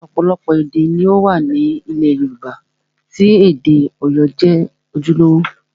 Ọ̀pọ̀lọpọ̀ èdè ni ó wà ní ilẹ̀ Yorùbá tí èdè Ọ̀yọ́ jẹ́ ojúlówó